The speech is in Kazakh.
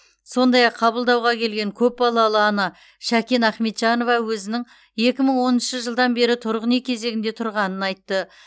сондай ақ қабылдауға келген көпбалалы ана шәкен ахметжанова өзінің екі мың оныншы жылдан бері тұрғын үй кезегінде тұрғанын айтты